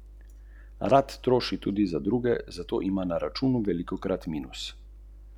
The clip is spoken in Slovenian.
Kje torej najti denar za razbremenitev plač?